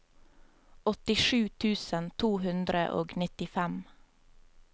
åttisju tusen to hundre og nittifem